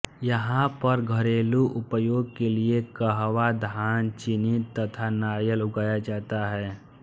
यहाँ पर घरेलू उपयोग के लिए कहवा धान चीनी तथा नारियल उगाया जाता है